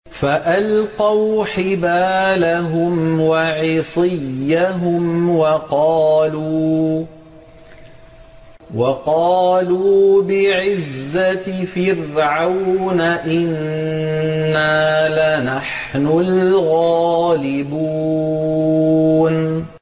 فَأَلْقَوْا حِبَالَهُمْ وَعِصِيَّهُمْ وَقَالُوا بِعِزَّةِ فِرْعَوْنَ إِنَّا لَنَحْنُ الْغَالِبُونَ